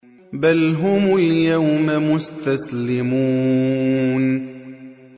بَلْ هُمُ الْيَوْمَ مُسْتَسْلِمُونَ